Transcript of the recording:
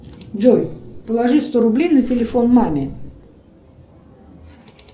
джой положи сто рублей на телефон маме